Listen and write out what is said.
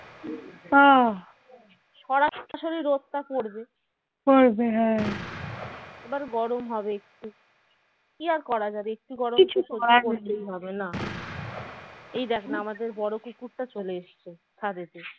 এই দেখ না আমাদের বড় কুকুরটা চলে এসেছে ছাদেতে